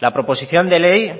la proposición de ley